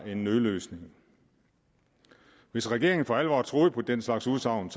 en nødløsning hvis regeringen for alvor troede på den slags udsagn